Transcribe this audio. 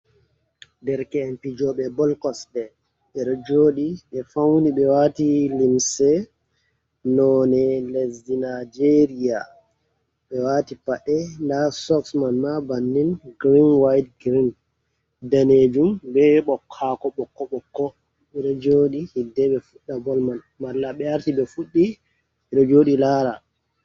Ɗereke'en pijobe bol kosɗe ɓeɗo joɗi ɓe fauni ɓe wati limse none lesdi Nijeria ɓe wati paɗe nda sok man ma bannin girin wayit girin danejum be ɓokko ɓokko ɓeɗo joɗi hiɗɗe ɓe fuɗɗa bol man malla ɓe arti ɓe fuddi ɓeɗo joɗi lara.